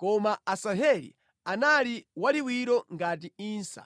Koma Asaheli anali waliwiro ngati insa.